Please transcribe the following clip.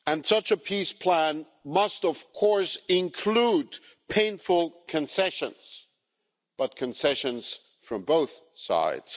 Such a peace plan must, of course, include painful concessions, but concessions from both sides.